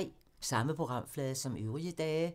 Samme programflade som øvrige dage